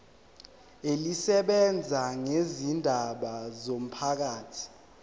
elisebenza ngezindaba zomphakathi